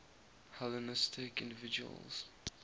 hellenistic individuals